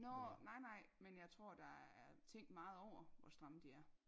Nårh nej nej men jeg tror der er er tænkt meget over hvor stramme de er